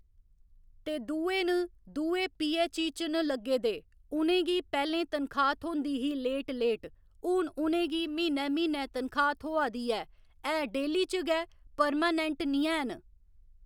ते दूए न दूए पीएचई च न लग्गे दे उ'नेंगी पैह्‌लें तनखाह् थ्होंदी ही लेट लेट हून उ'नेंगी म्हीनै म्हीनै तनखाह् थ्होआ दी ऐ ऐ डेली च गै परमानैंट निं हैन